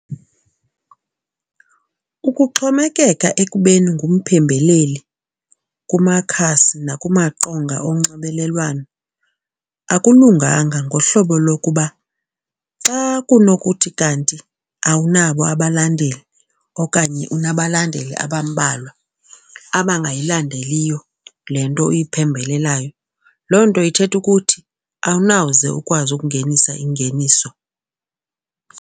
Ukuxhomekeka ekubeni ngumphembeleli kumakhasi nakumaqonga onxibelelwano akulunganga ngohlobo lokuba xa kunokuthi kanti awunabo abalandeli okanye unabalandeli abambalwa abangayilandeliyo le nto uyiphembelelayo, loo nto ithetha ukuthi awunawuze ukwazi ukungenisa ingeniso.